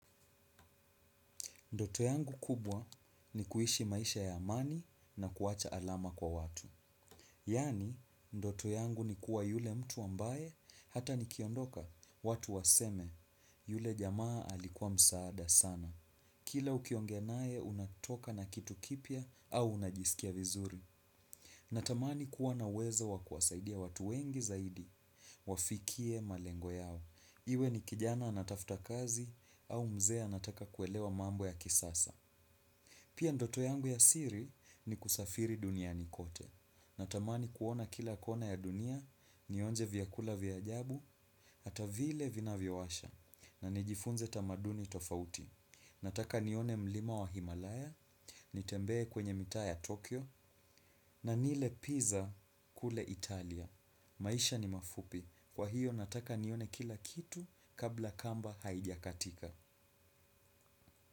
Ndoto yangu kubwa ni kuishi maisha ya amani na kuwacha alama kwa watu. Yani, ndoto yangu ni kuwa yule mtu ambaye hata nikiondoka watu waseme yule jamaa alikuwa msaada sana. Kila ukiongea naye unatoka na kitu kipya au unajisikia vizuri. Natamani kuwa na uwezo wa kuwasaidia watu wengi zaidi. Wafikie malengo yao. Iwe ni kijana anatafuta kazi au mzee anataka kuelewa mambo ya kisasa. Pia ndoto yangu ya siri ni kusafiri duniani kote. Natamani kuona kila kona ya dunia, nionje vyakula vya ajabu, hata vile vinavyo washa, na nijifunze tamaduni tofauti. Nataka nione mlima wa Himalaya, nitembee kwenye mitaa ya Tokyo, na nile pizza kule Italia. Maisha ni mafupi. Kwa hiyo nataka nione kila kitu kabla kamba haijakatika.